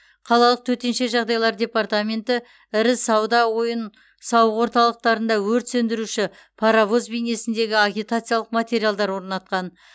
қалалық төтенше жағдайлар департаменті ірі сауда ойын сауық орталықтарында өрт сөндіруші паровоз бейнесіндегі агитациялық материалдар орнатқан